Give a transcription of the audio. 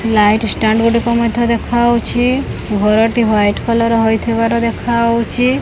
Light stand ଗୋଟେ ମଧ୍ୟ ଦେଖାଯାଉଛି ଘରଟି ହ୍ୱାଇଟ୍ କଲର୍ ହୋଇଥିବାର ଦେଖାଉଛି।